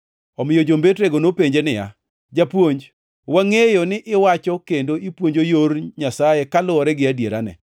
Omiyo jombetrego nopenje niya, “Japuonj, wangʼeyo ni iwacho kendo ipuonjo yor Nyasaye kaluwore gi adierane.